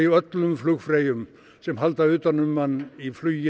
öllum flugfreyjum sem halda utan um mann í flugi